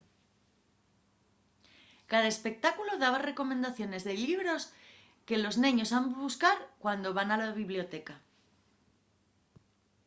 cada espectáculu daba recomendaciones de llibros que los neños han buscar cuando van a la biblioteca